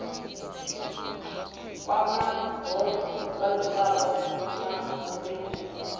kwamaho vhadzulapo na uri hu